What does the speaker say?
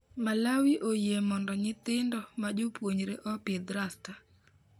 Malawi oyie Mondo nyithindo ma Jopuonjre opidh rasta